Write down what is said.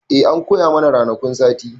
E, an koya mana ranakun sati.